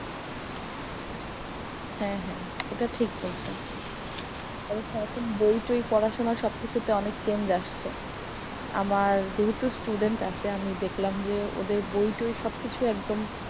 হ্যা হ্যা এটা ঠিক বলছেন। এবং সারাক্ষণ বই টই পড়ার সময় সব কিছুতে অনেক change আসছে। আমার যেহেতু student আছে আমি দেখলাম যে ওদের বই টই সব কিছু একদম।